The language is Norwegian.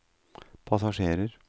passasjerer